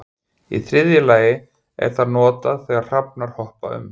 Í þriðja lagi er það notað þegar hrafnar hoppa um.